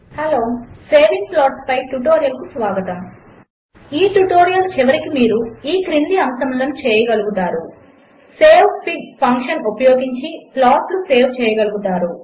hello saving plots పై ట్యుటోరియల్కు స్వాగతం 1 ఈ ట్యుటోరియల్ చివరికి మీరు ఈ క్రింది అంశములను చేయగలుగుతారు 2 savefig ఫంక్షన్ ఉపయోగించి ప్లాట్స్ సేవ్ చేయగలుగుతారు